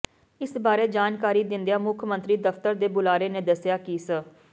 ਇਸ ਬਾਰੇ ਜਾਣਕਾਰੀ ਦਿੰਦਿਆ ਮੁੱਖ ਮੰਤਰੀ ਦਫ਼ਤਰ ਦੇ ਬੁਲਾਰੇ ਨੇ ਦੱਸਿਆ ਕਿ ਸ